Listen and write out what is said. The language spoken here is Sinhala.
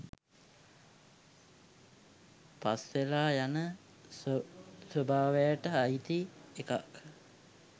පස්වෙලා යන ස්වභාවයට අයිති එකක්.